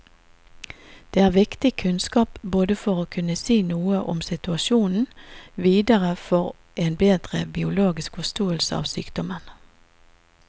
Det er viktig kunnskap både for å kunne si noe om situasjonen videre og for en bedre biologisk forståelse av sykdommen.